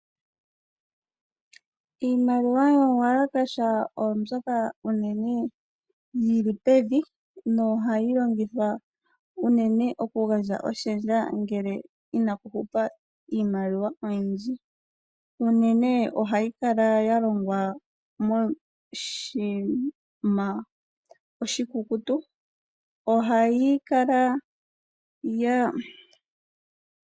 Iimaliwa yomu walakasha oyo mbyoka unene yi li pevi nohayi longithwa unene okugandja oshendja ngele inaku hupa iimaliwa oyindji. Unene ohayi kala ya longwa moshinima oshikukutu.